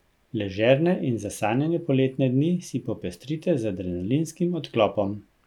Ležerne in zasanjane poletne dni si popestrite z adrenalinskim odklopom.